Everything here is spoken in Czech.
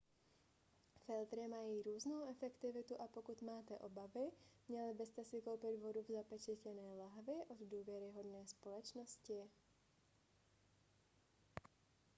filtry mají různou efektivitu a pokud máte obavy měli byste si koupit vodu v zapečetěné lahvi od důvěryhodné společnosti